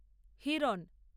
Hiran